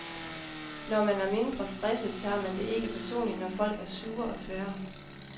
Når man er mindre stresset, tager man det ikke personligt, når folk er sure og tvære.